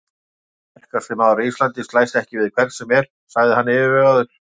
Sterkasti maður á Íslandi slæst ekki við hvern sem er, sagði hann yfirvegaður.